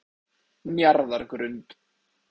Njarðargrund